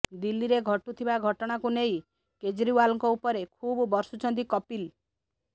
ଦିଲ୍ଲୀରେ ଘଟୁଥିବା ଘଟଣାକୁ ନେଇ କେଜ୍ରିୱାଲଙ୍କ ଉପରେ ଖୁବ ବର୍ଷିଛନ୍ତି କପିଲ